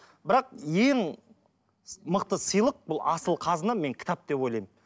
бірақ ең мықты сыйлық бұл асыл қазына мен кітап деп ойлаймын